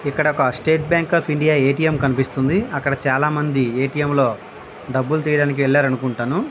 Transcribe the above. ఇక్కడ ఒక State Bank of India A. T. M కనిపిస్తున్నది. అక్కడ చాలా మంది ఎ. టి. ఎం లో డబ్బులు తీయడానికి వెళ్లారనుకుంటాను.